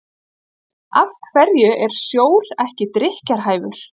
af hverju er sjór ekki drykkjarhæfur